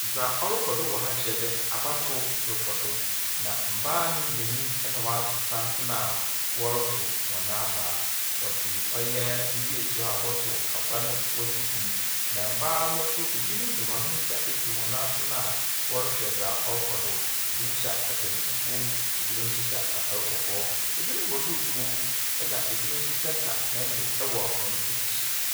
Dza ɔrokɔ do wɔ ha kyerɛ dɛ abatow rokɔ do na mbaa nye mbenyin na wɔato santsen a wɔrotow hɔn aba. Wɔdze ɔyɛ biribi esi hɔ a wɔtow aba no wɔdze gu mu. Na mbaa no nso, binom dze hɔn nsa esi hɔn asene a wɔrehwɛ dza ɔrokɔ do. Binom hyɛ atar fufuw, binom nso hyɛ atar kɔkɔɔ. Binom bɔ duukuu, na binom nso tsenatsena hyɛn do wɔ hɔn ekyir.